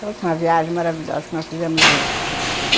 Foi a última viagem maravilhosa que nós fizemos juntos.